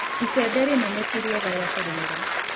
Icembe rĩnene tĩ rĩega rĩa kũrĩmĩra.